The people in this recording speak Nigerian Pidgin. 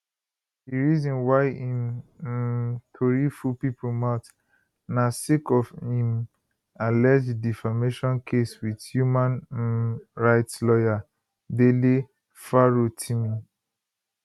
di reason why im um tori full pipo mouth na sake of im alleged defamation case wit human um rights lawyer dele farotimi